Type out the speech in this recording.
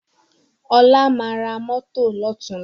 Ọlá máa ra mọ́tọ̀ lọ́tùnla